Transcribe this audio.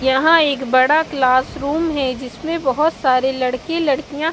यहाँ एक बड़ा क्लासरूम है जिसमें बहुत सारे लड़के लड़कियाँ--